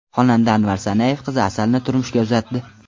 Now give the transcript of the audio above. Xonanda Anvar Sanayev qizi Asalni turmushga uzatdi.